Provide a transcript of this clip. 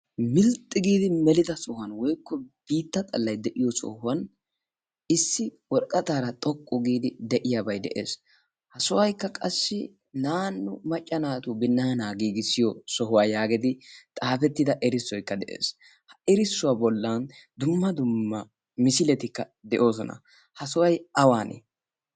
milxxi giidi melida sohuwan woykko biitta xallay de'iyo sohuwan issi worqqataara xoqqu giidi de'iyaabay de'ees ha sohoykka qassi naannu maccanaatu binnaanaa giigissiyo sohuwaa yaageedi xaafettida erissoykka de'ees ha erissuwaa bollan dumma dumma misiletikka de'oosona ha soway awane